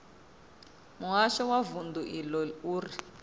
muhasho wa vundu iḽo uri